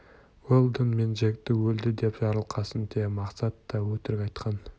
уэлдон мен джекті өлді деп жарылқасын те мақсат та өтірік айтқан